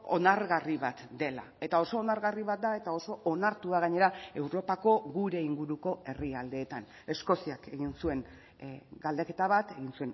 onargarri bat dela eta oso onargarri bat da eta oso onartua gainera europako gure inguruko herrialdeetan eskoziak egin zuen galdeketa bat egin